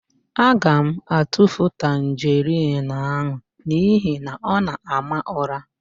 Aga m atufu tanjerịn ahụ n'ihi na ọ na-ama ụ̀rá.